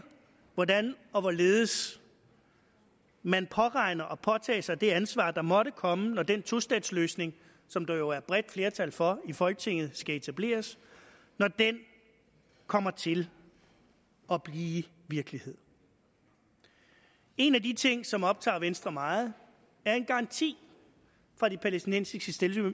hvordan og hvorledes man påregner at påtage sig det ansvar der måtte komme når den tostatsløsning som der jo er bredt flertal for i folketinget skal etableres når den kommer til at blive virkelighed en af de ting som optager venstre meget er en garanti fra de palæstinensiske